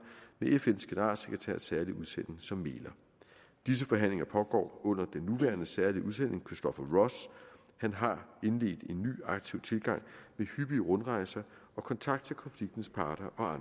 med fns generalsekretærs særlige udsending som mægler disse forhandlinger pågår under den nuværende særlige udsending christopher ross han har indledt en ny aktiv tilgang med hyppige rundrejser og kontakt til konfliktens parter og